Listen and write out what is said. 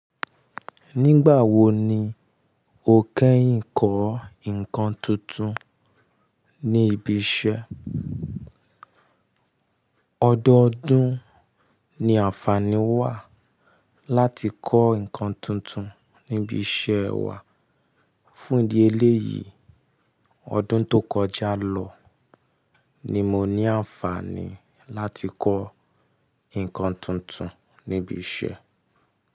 Nígbà wo ni o kẹ́yìn kọ́ ǹkan tuntun ní ibi iṣẹ́? Ọdọọdún ni àǹfààní wà láti kọ́ ǹkan tuntun níbi iṣẹ́ wa. Fún idí ẹ̀léyìi ọdún tó kọjá lọ ni mo ní àǹfààní láti kọ́ ǹkan tuntun níbi iṣẹ́.